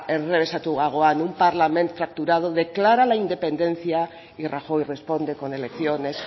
enrrebesatuagoan un parlament fracturado declara de la independencia y rajoy responde con elecciones